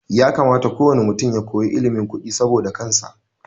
Ya kamata ko wane mutum ya koyi ilimin kudi saboda kansa